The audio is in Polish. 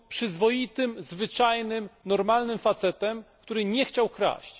Był on przyzwoitym, zwyczajnym, normalnym facetem, który nie chciał kraść.